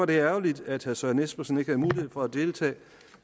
det ærgerligt at herre søren espersen ikke havde mulighed for at deltage